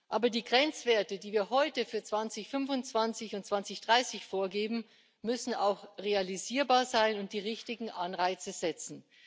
Aber die Grenzwerte, die wir heute für 2025 und 2030 vorgeben, müssen auch realisierbar sein und die richtigen Anreize setzen.